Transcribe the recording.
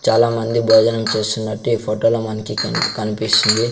చాలామంది భోజనం చేస్తున్నట్టు ఈ ఫోటోలో మనకి కెనిప్ కనిపిస్తుంది.